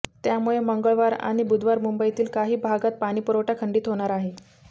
त्यामुळे मंगळवार आणि बुधवारी मुंबईतील काही भागातील पाणीपुरवठा खंडित होणार आहे